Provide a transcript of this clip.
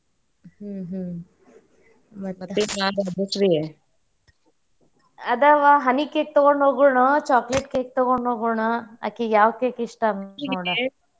ಹ್ಮ ಹ್ಮ ಅದವಾ honey cake ತುಗೋಂಡ ಹೋಗೋಣು chocolate cake ತಗೊಂಡ ಹೋಗೋಣೋ? ಆಕಿಗಿ ಯಾವ್ cake ಇಷ್ಟಾ?